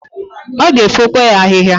Ọ g'efokwa ya ahịhịa.